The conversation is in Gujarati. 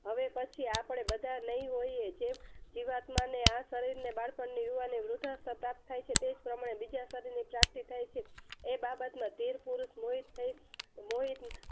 હવે પછી આપણે બધા નહિ હોઈએ જે જીવાત્માને આ શરીરને બાળપણ ની યુવાની વૃદ્ધા સ્થાપ્ત થાય છે તેજ પ્રમાણે બીજા શરીરની પ્રાપ્તિ થાય છે એ બાબતમાં ધીરપુરુષ મોહિત થઈ મોહિત